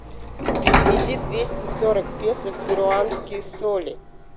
переведи двести сорок песо в перуанские соли